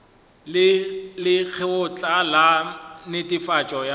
le lekgotla la netefatšo ya